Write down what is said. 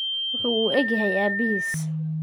Wuxuu u eg yahay aabihiis.